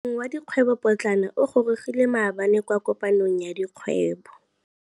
Moêng wa dikgwêbô pôtlana o gorogile maabane kwa kopanong ya dikgwêbô.